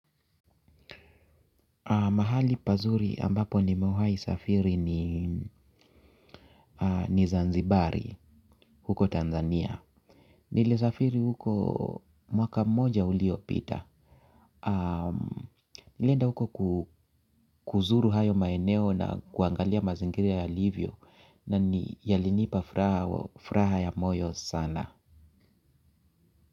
Mahali pazuri ambapo nimewahi safiri ni ni Zanzibari, huko Tanzania. Nili safiri huko mwaka moja uliopita. Nilienda huko kuzuru hayo maeneo na kuangalia mazingira yalivyo na ni yalinipa furaha ya moyo sana.